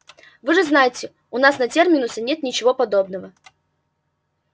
вы же знаете у нас на терминусе нет ничего подобного